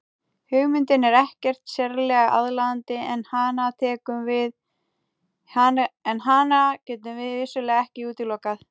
Hugmyndin er ekkert sérlega aðlaðandi en hana getum við vissulega ekki útilokað.